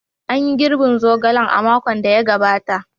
An yi girbin zogalen a makon da ya gabata.